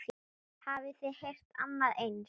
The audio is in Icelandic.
Hafið þið heyrt annað eins?